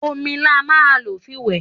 Òmí là mà ń lo fí wẹ